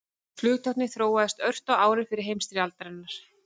Flugtæknin þróaðist ört á árum fyrri heimsstyrjaldarinnar.